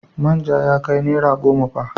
Manja ya kai naira goma fa.